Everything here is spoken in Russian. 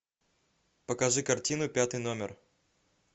покажи картину пятый номер